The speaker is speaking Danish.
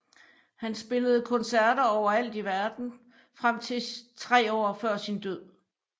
Han spillede koncerter overalt i verden frem til tre år før sin død